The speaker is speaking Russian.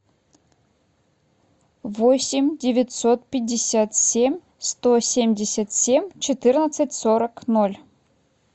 восемь девятьсот пятьдесят семь сто семьдесят семь четырнадцать сорок ноль